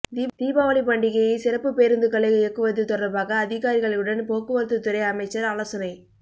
தீபாவளி பண்டிகையை சிறப்புப் பேருந்துகளை இயக்குவது தொடர்பாக அதிகாரிகளுடன் போக்குவரத்துத் துறை அமைச்சர் ஆலோசனை